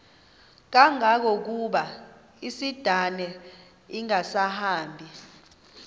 kangangokuba isindane ingasahambi